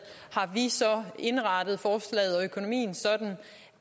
har vi så indrettet forslaget og økonomien sådan